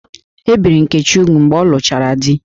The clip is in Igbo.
E biri Nkechi úgwù mgbe ọ lụchara di